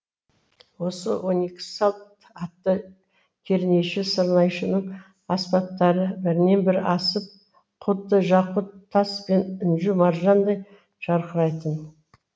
осы он екі салт атты кернейші сырнайшының аспаптары бірінен бірі асып құдды жақұт тас пен інжу маржандай жарқырайтын